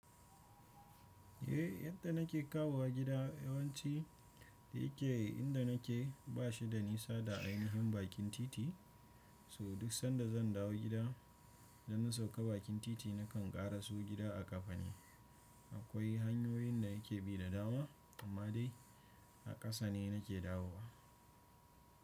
Eh yadda nake kawowa gida yawanci da yake inda nake ba shi da nisa da ainihin bakin titi. So duk sanda zan dawo gida da na sauka bakin titi nakan ƙara so gida a ƙafa ne. Akwai hanyoyin da yake bi da dawo amma dai a ƙasa ne nake dawowa.